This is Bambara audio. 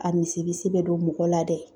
A bɛ don mɔgɔ la dɛ